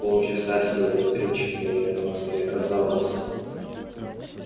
полчаса всего электричкой от москвы а казалось